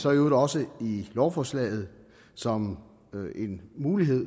øvrigt også i lovforslaget som en mulighed